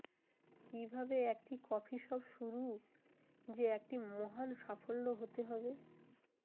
কিভাবে একটি coffee shop শুরু যে একটি মহান সাফল্য হতে হবে